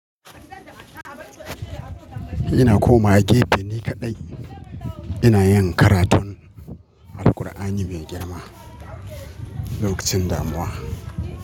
Ina komawa gefe ni kaɗai ina yin karatun Alqur'ani mai girma lokacin damuwa.